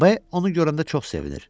B onu görəndə çox sevinir.